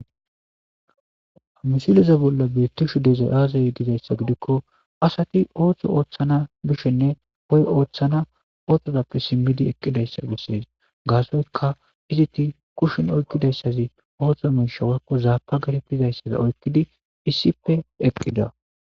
amisileza bolla bietti shudezay aazayi dizayssa gidikko asati ooththo ooththana bishenne hoy ooththana ooththozappe simmidi eqqidayssa bessees gaasoyka iziti kushin oykkidayssazi ooththo minshawakko zaapa garepizayssafi oykkidi issipe eqqida